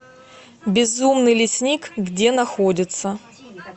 безумный лесник где находится